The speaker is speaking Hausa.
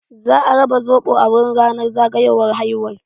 Za a raba soɓo a wurin ranar zagayowar haihuwar.